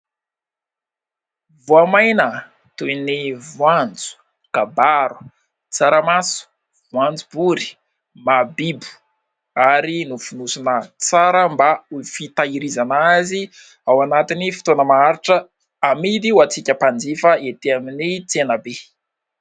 Voamaina toy ny: voanjo, kabaro, tsaramaso, voanjobory, mahabibo ary nofonosona tsara mba ho fitahirizana azy ao anatin'ny fotoana maharitra; amidy ho antsika mpanjifa etỳ amin'ny tsenabe.